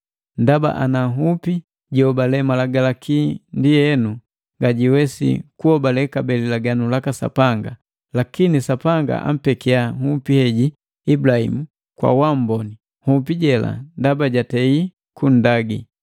Ndaba ana nhupi jihobale Malagalaki ndienu ngajiwesi kunhobale kabee lilaganu laka Sapanga, lakini Sapanga ampekiya nhupi heji Ibulahimu kwa uamboni nhupi jela ndaba jatei kunndagi.